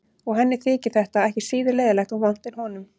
Og henni þyki þetta ekki síður leiðinlegt og vont en honum.